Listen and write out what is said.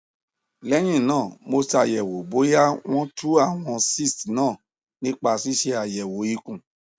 lẹyìn náà mo ṣàyẹwò bóyá wọn tú àwọn cysts náà nípa ṣíṣe àyẹwò ikùn